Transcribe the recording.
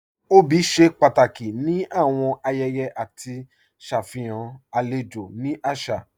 Obì ṣe pàtàkì ni awọn ayẹyẹ àti ṣafihàn alẹjò ni àṣà.